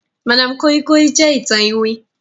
madam koi koi jẹ ìtàn iwin.